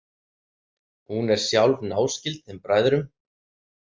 Hún er sjálf náskyld þeim bræðrum.